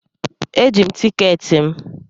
Eji m tikeeti m.